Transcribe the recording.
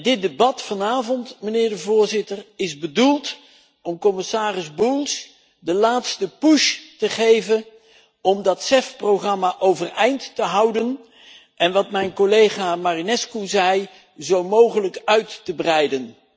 Dit debat vanavond, meneer de Voorzitter, is bedoeld om commissaris Bulc de laatste push te geven om dat CEF programma overeind te houden en om wat mijn collega Marinescu zei zo mogelijk uit te breiden.